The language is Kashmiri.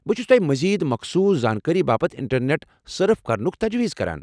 بہٕ چُھس توہہِ مزید مخصوص زانكٲری باپت انٹرنیٹ سٕرف كرنُك تجویز كران ۔